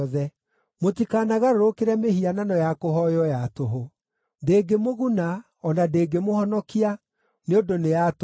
Mũtikanagarũrũkĩre mĩhianano ya kũhooywo ya tũhũ. Ndĩngĩmũguna, o na ndĩngĩmũhonokia, nĩ ũndũ nĩ ya tũhũ.